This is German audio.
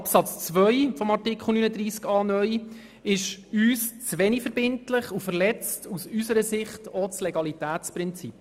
Absatz 2 von Artikel 39a (neu) ist uns zu wenig verbindlich und er verletzt das Legalitätsprinzip.